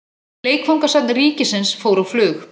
Leikfangasafn ríkisins fór á flug.